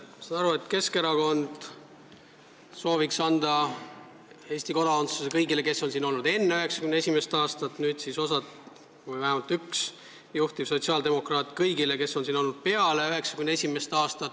Ma saan aru, et Keskerakond sooviks anda Eesti kodakondsuse kõigile, kes on siin olnud enne 1991. aastat, nüüd siis vähemalt üks juhtiv sotsiaaldemokraat sooviks selle anda kõigile, kes on siin olnud alates 1991. aastast.